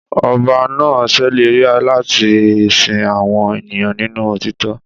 Ọba náà ṣèlérí láti sin àwọn ènìyàn nínú òtítọ́